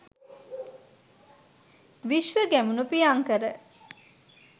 Vishwa Gamunu Priyankara